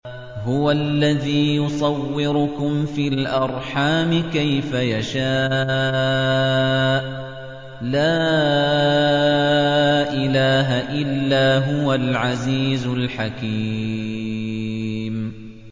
هُوَ الَّذِي يُصَوِّرُكُمْ فِي الْأَرْحَامِ كَيْفَ يَشَاءُ ۚ لَا إِلَٰهَ إِلَّا هُوَ الْعَزِيزُ الْحَكِيمُ